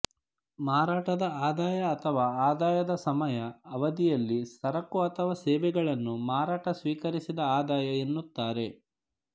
ಮಾರಾಟದ ಆದಾಯ ಅಥವಾ ಆದಾಯದ ಸಮಯ ಅವಧಿಯಲ್ಲಿ ಸರಕು ಅಥವಾ ಸೇವೆಗಳನ್ನು ಮಾರಾಟ ಸ್ವೀಕರಿಸಿದ ಆದಾಯ ಎನ್ನುತ್ತಾರೆ